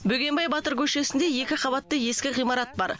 бөгенбай батыр көшесінде екі қабатты ескі ғимарат бар